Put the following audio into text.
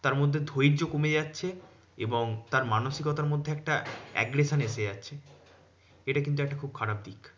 তারমধ্যে ধৈর্য কমে যাচ্ছে এবং তার মানসিকতার মধ্যে একটা aggression এসে যাচ্ছে এটা কিন্তু একটা খুব খারাপ দিক।